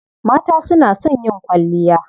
Mata su na son yin kwalliya.